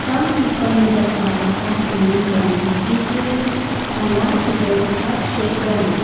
some people in the ground are holding balloons including a large red heart shaped balloon.